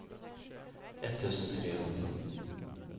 etttusen trehundra